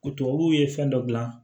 O tubabuw ye fɛn dɔ dilan